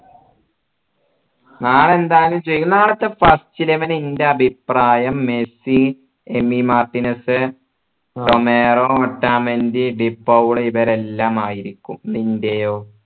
നാളെ എന്തായാലും ജയി നാളത്തെ first eleven ഇന്റെ അഭിപ്രായം മെസ്സി എമി മാർട്ടിനസ് റൊമേറോ ഓട്ടമന്റെ ഡി പൌള് ഇവരെല്ലാം ആയിരിക്കും നിൻറെയോ